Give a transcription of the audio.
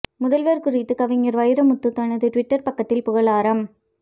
முதல்வர் குறித்து கவிஞர் வைரமுத்து தனது டுவிட்டர் பக்கத்தில் புகழாரம்